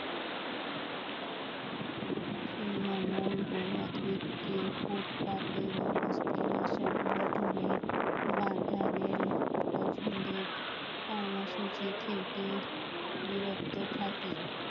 তৃণমূল ফুটপাতে সংগঠনের বাধা রেল পছন্দের কর্মসূচি থেকে বিরত থাকে